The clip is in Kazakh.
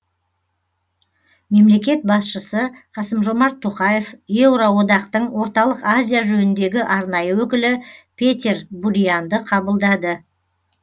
мемлекет басшысы қасым жомарт тоқаев еуроодақтың орталық азия жөніндегі арнайы өкілі петер бурианды қабылдады